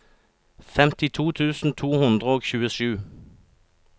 femtito tusen to hundre og tjuesju